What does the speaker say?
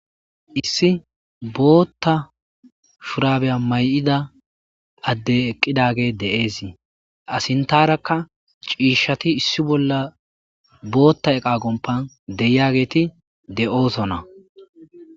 issi bootta shurabeya may7ida adde eqqidage de7eesii asintarakka ciishati issi bolla bootta eqa gompan deyiageeti de7oosona